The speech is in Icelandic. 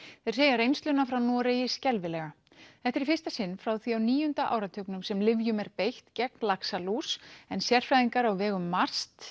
þeir segja reynsluna frá Noregi skelfilega þetta er í fyrsta sinn frá því á níunda áratugnum sem lyfjum er beitt gegn laxalús en sérfræðingar á vegum MAST